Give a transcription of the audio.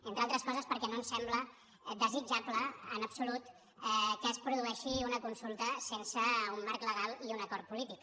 entre altres coses perquè no ens sembla desitjable en absolut que es produeixi una consulta sense un marc legal i un acord polític